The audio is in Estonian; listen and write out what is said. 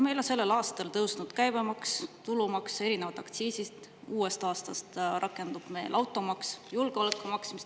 Meil on sel aastal tõusnud käibemaks, tulumaks ja erinevad aktsiisid, uuest aastast rakendub automaks.